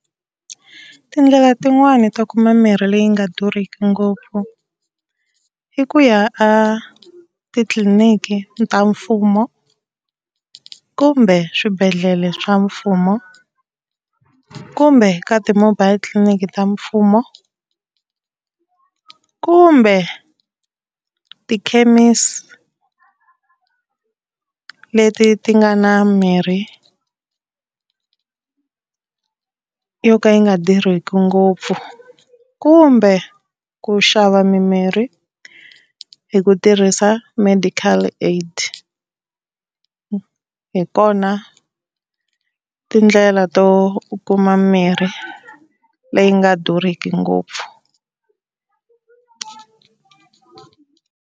Tindlela tin'wani to kuma mimirhi leyi nga durhiki ngopfu i ku ya a titliliniki ta mfumo kumbe swibedhlele swa mfumo, kumbe ka ti-mobile titliliniki ta mfumo, kumbe tikhemisi leti ti nga na mirhi yo ka yi nga durhiki ngopfu, kumbe ku xava mimirhi hi ku tirhisa medical aid, hi tona tindlela to u kuma mirhi leyi nga durhiki ngopfu.